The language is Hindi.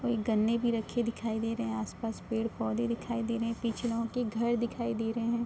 और गन्ने भी रखे दिखाई दे रहे हैं। आस-पास पेड़-पौधे दिखाई दे रहे हैं। पीछे लोगो के घर दिखाई दे रहे हैं।